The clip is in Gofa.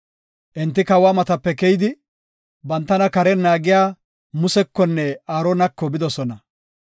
Enti kawa matape keyidi, bantana karen naagiya Musekonne Aaronako bidosona.